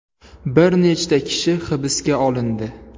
Bir nechta kishi hibsga olindi.